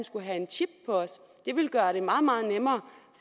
skulle have en chip på os det ville gøre det meget meget nemmere